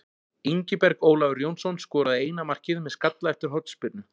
Ingiberg Ólafur Jónsson skoraði eina markið með skalla eftir hornspyrnu.